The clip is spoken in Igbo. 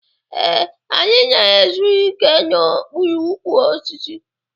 Ee, anyị na-ezu ike n'okpuru ukwu osisi.